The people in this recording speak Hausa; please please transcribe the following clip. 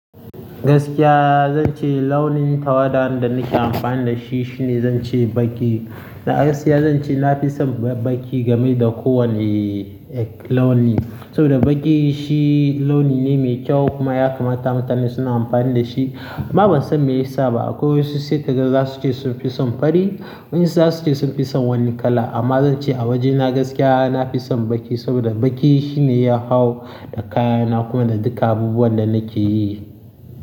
Gaskiya zance launin tawada da nake amfani dashi shine zance baƙi na gaskiya zan ce na fi son baƙi game da ko wanne launi. Saboda baƙi shi launi ne mai kyau kuma ya kamata mutane suna amfani da shi. Amma ban san me ya sa ba akwai wasu sai ka ga za su ce sun fi son fari wasu za su ce sun fi son wani kala. Amma zan ce a wajena gaskiya na fi son baƙi saboda baƙi shine ya hau da kayana kuma da duka abubuwan da nake yi.